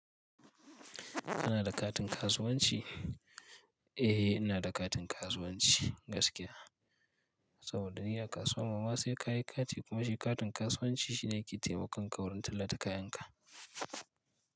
Kana da katin kasuwanci? Eh ina da katin kasuwanci gaskiya. Saboda ni a kasuwar mu ma sai kayi kati kuma shi katin kasuwanci shine yake taimakon ka wurin tallata kayan ka.